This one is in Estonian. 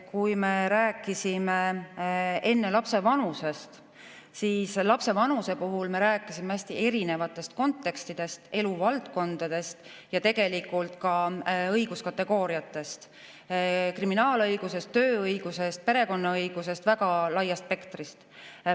Kui me rääkisime enne lapse vanusest, siis lapse vanuse puhul me rääkisime hästi erinevatest kontekstidest, eluvaldkondadest ja tegelikult ka õiguskategooriatest, see tähendab kriminaalõigusest, tööõigusest, perekonnaõigusest – väga laiast spektrist.